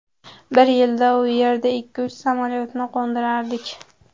Bir yilda u yerda ikki-uch samolyotni qo‘ndirardik.